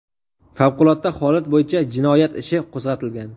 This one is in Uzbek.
Favqulodda holat bo‘yicha jinoyat ishi qo‘zg‘atilgan.